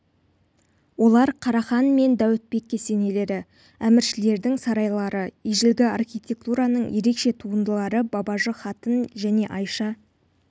олар қарахан мен дәуітбек кесенелері әміршілердің сарайлары ежелгі архитектураның ерекше туындылары бабажы қатын және айша